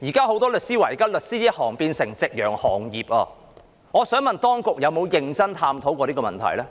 很多律師說現時他們的行業已變成夕陽行業，當局有否認真探討這問題？